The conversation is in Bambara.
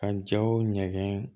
Ka jaw ɲɛgɛn